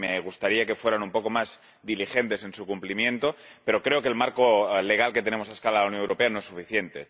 Me gustaría que fueran un poco más diligentes en su cumplimiento, pero creo que el marco legal que tenemos a escala europea no es suficiente.